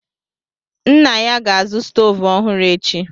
Nna ya ga-azụ stovu ọhụrụ echi.